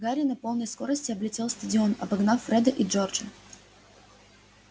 гарри на полной скорости облетел стадион обогнав фреда и джорджа